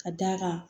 Ka d'a kan